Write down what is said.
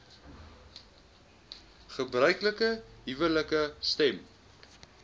gebruiklike huwelike stem